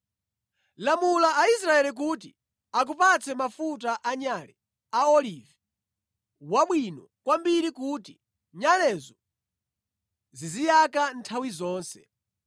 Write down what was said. “Lamula Aisraeli kuti akupatse mafuta anyale a olivi wabwino kwambiri kuti nyalezo ziziyaka nthawi zonse.